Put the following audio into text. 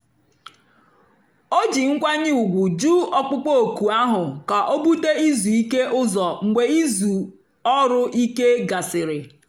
ó jí nkwányè ùgwù jụ́ ọ̀kpụ́kpọ́ òkù áhụ̀ kà ó búté ízú íké ụ́zọ̀ mgbe ízú ọ́rụ̀-íké gàsị̀rị́.